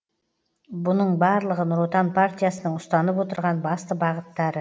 бұның барлығы нұр отан партиясының ұстанып отырған басты бағыттары